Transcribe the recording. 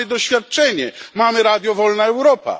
Mamy doświadczenie, mamy Radio Wolna Europa.